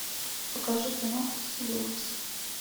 покажи киноху в стиле ужасов